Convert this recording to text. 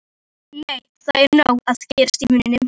Nei, það er nóg að gera í vinnunni.